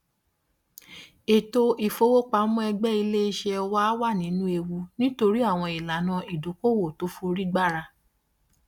ètò ìfowópamọ ẹgbẹ iléiṣẹ wà nínú ewu nítorí àwọn ìlànà ìdókòowó tó fi orí gbára